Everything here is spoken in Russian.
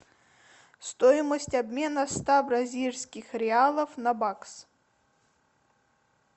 стоимость обмена ста бразильских реалов на бакс